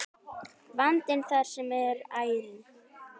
Vandinn þar er ærinn.